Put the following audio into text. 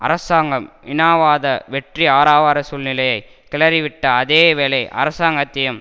அரசாங்கம் இனவாத வெற்றி ஆரவார சூழ்நிலையை கிளறிவிட்ட அதே வேளை அரசாங்கத்தையும்